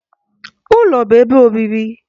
Ụlọ bụ ebe obibi